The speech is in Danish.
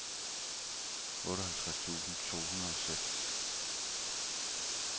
otteoghalvtreds tusind to hundrede og seks